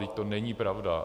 Vždyť to není pravda!